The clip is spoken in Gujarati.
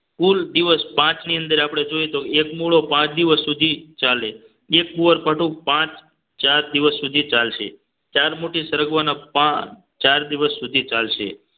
કુલ દિવસ પાંચની અંદર આપણે જોઈએ તો એક મૂળો પાંચ દિવસ સુધી ચાલે એક કુવારપાઠો પાંચ ચાર દિવસ સુધી ચાલશે ચાર મુઠ્ઠી સરગવા ના પાન ચાર દિવસ સુધી ચાલશે